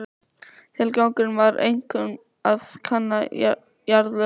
Tilgangurinn var einkum að kanna jarðlög.